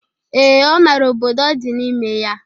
Ee, ọ mara obodo ọ dị n'ime ya.